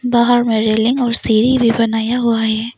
बाहर मे रेलिंग और सीढ़ी भी बनाया हुआ है।